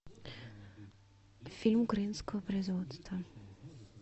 фильм украинского производства